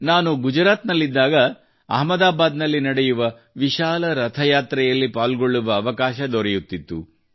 ನಾನು ಗುಜರಾತ್ ನಲ್ಲಿದ್ದಾಗ ಅಹಮದಾಬಾದ್ ನಲ್ಲಿ ನಡೆಯುವ ವಿಶಾಲ ರಥಯಾತ್ರೆಯಲ್ಲಿ ಪಾಲ್ಗೊಳ್ಳುವ ಅವಕಾಶ ದೊರೆಯುತ್ತಿತ್ತು